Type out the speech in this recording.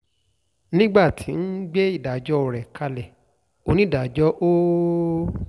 nígbà tó ń gbé ìdájọ́ rẹ̀ kalẹ̀ onídàájọ́ ol